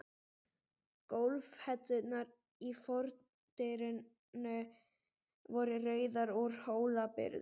Gólfhellurnar í fordyrinu voru rauðar, úr Hólabyrðu.